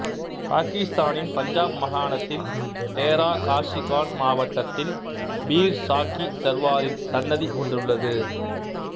பாக்கிஸ்தானின் பஞ்சாப் மாகாணத்தின் தேரா காஸி கான் மாவாட்டத்தில் பீர் சாஃக்கி சர்வாரின் சன்னதி ஒன்றுள்ளது